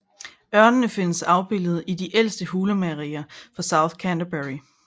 Ørnene findes afbildet i de ældste hulemalerier fra South Canterbury